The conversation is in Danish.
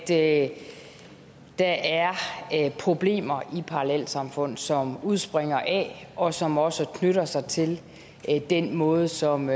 at der er problemer i parallelsamfund som udspringer af og som også knytter sig til den måde som